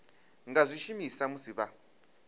nga zwi shumisa musi vha